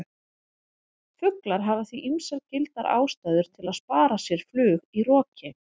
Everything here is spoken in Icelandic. Fuglar hafa því ýmsar gildar ástæður til að spara sér flug í roki!